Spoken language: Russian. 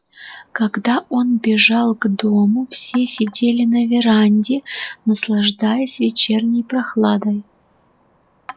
когда он бежал к дому все сидели на веранде наслаждаясь вечерней прохладой